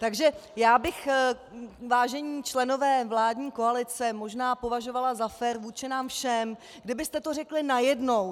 Takže já bych, vážení členové vládní koalice, možná považovala za fér vůči nám všem, kdybyste to řekli najednou.